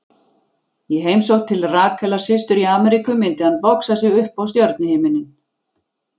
Í heimsókn til Rakelar systur í Ameríku myndi hann boxa sig upp á stjörnuhimininn.